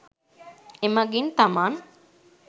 එමඟින් තමන්